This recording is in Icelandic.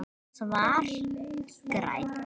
Svar: Grænn